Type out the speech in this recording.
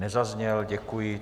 Nezazněl, děkuji.